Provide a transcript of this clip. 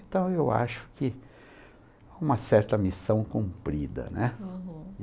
Então, eu acho que é uma certa missão cumprida, né?